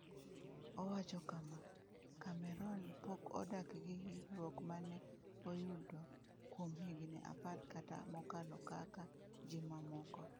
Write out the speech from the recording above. Owacho kama: “Cameron pok odak gi hinyruok ma ne oyudo kuom higni apar kata mokalo kaka ji mamoko.”